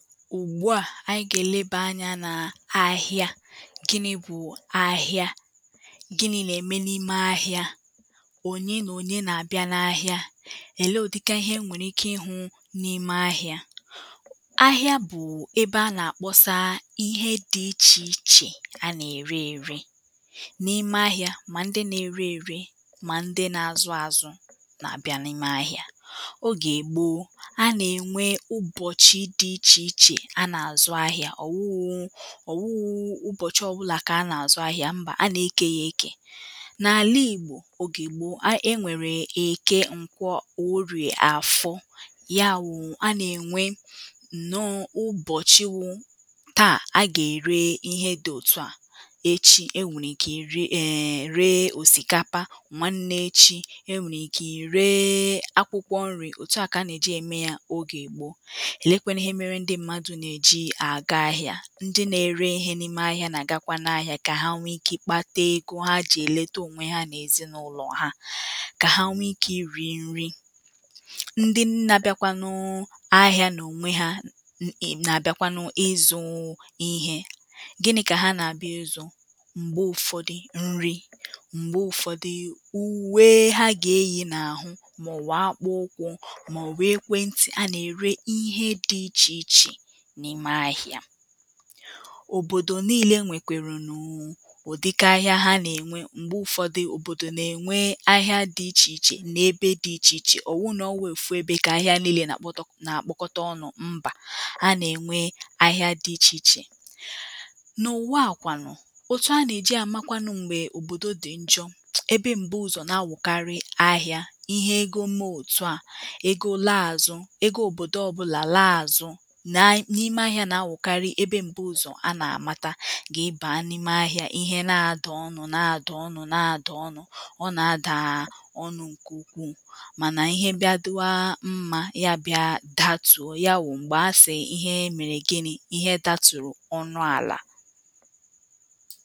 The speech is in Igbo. ùgbuà ànyị gà-èlebà anyȧ n’ahịa, gị nà-ebu ahịa, gị nà-ème n’ime ahịa, ònye nà ònye nà-àbịa na ahịa, èlee o dịka ihe e nwèrè ike ihu n’ime ahịa.ahịa bụ̀ um ebe a nà-àkpọsa ihe dị̇ ichè ichè a nà-ère ėre n’ime ahịa mà ndị na-ere ėre mà ndị na-azụ àzụ n’abịa n’ime ahịa.oge ègbo a nà-ènwe ụbọ̀chị̀ di iche iche a na azụ ahịa,ọ̀ wụụ ọ̀ wụụ ụbọ̀chị ọ̀bụlà kà a nà-àzụ ahịȧ mbà a nà-ekė ya ekè n’àla ìgbò ogè gbòo a e nwèrè eke ǹkwọ orìà àfọ ya wụ̇ a nà-ènwe nọọ ụbọ̀chị wụ̇ taà a gà-ère ihe dị̇ òtu à echi e nwèrè ike iree um ree òsìkapa nwa nne-echi e nwèrè ike ireee akwụkwọ nri̇ òtu à kà a nà-èji ème ya ogè Gboo. elekwenu ihe mere ndị mmadụ na eji aga ahịa ndị na-ere ihe n’ime ahịa na-agakwanụ ahịa kà ha nwee ike ịkpata ego ha ji eleta onwe ha n’ezinụlọ̀ ha, kà ha nwee ike iri nri.ndị nnà-abịakwanụ ahịa n’onwe ha um na-abịakwanụ ịzụ̇ ihe gịnị̇ kà ha nà-àbịa ụzọ̀ m̀gbe ụ̀fọdụ nri m̀gbe ụ̀fọdụ uwee ha gà-eyì n’àhụ màọ̀wụ̀ akpụ ụkwụ̇ màọ̀wụ̀ ekwentị̀ a nà-ère ihe dị̇ ichè ichè n'ime ahịa.òbòdò niilė nwèkwèrè nụ̀ụ ụ̀dịka ahịa ha nà-ènwe m̀gbe ụfọdụ òbòdò nà-ènwe ahịa dị̇ ichè ichè nà ebe dị̇ ichè ichè ọ̀ wụ nọ̀ ọ̀ wụ ofụ ebe kà ahịa niilė nà-àkpọtọ n’akpọkọta ọnụ̇ mbà a nà-ènwe ahịa dị̇ ichè ichè. n’ụ̀waàkwanụ̀ òtù a nà-èji àmakwanụ m̀gbè òbòdo dị̀ njọ̇ ebe m̀bu ụzọ̀ nà-awụ̀karị ahịȧ ihe ego mee òtù a ego laa àzụ ego òbòdò ọbụlà laa àzụ na n'ime ahịȧ na Awụkarị ebe mbuzo ana amata.i baa n’ime ahịȧ ihe na-adà ọnụ̇ na-adà ọnụ̇ na-adà ọnụ̇ ọ na ada ọnụ nke ukwuu mana ihe bịa dịwa mmȧ ya bịa datùo, ya wụ̀ m̀gbè asị̀ ihe mèrè gịnị̇, ihe dȧtùrù ọnụ àlà